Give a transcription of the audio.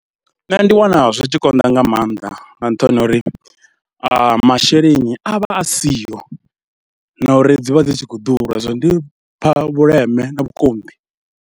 Nṋe ndi wana zwi tshi konḓa nga maanḓa nga nṱhani ha uri masheleni a vha a siho na uri dzi vha dzi tshi khou ḓura zwino ndi pha vhuleme na vhukonḓi.